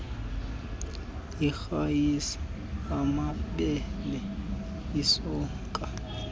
irayisi amabele isonka